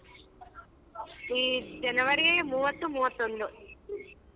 ಈ ಜನವರಿ ಮೂವತ್ತು ಮೂವತ್ತೊಂದು .